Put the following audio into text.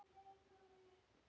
Það voru notaleg fyrstu kynni.